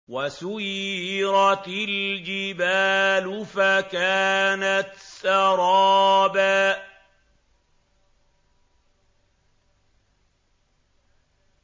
وَسُيِّرَتِ الْجِبَالُ فَكَانَتْ سَرَابًا